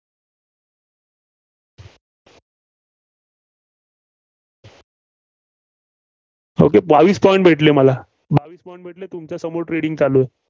okay बावीस point भेटले मला. बावीस point भेटले. तुमच्यासमोर trading चालू आहे.